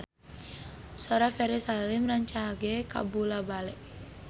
Sora Ferry Salim rancage kabula-bale